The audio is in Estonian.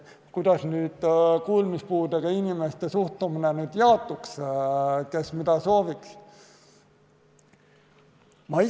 Kuidas kuulmispuudega inimeste suhtumine jaotuks, kes mida sooviks?